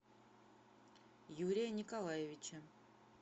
юрия николаевича